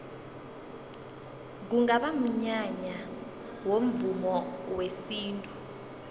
kungaba mnyanya womvumo wesintu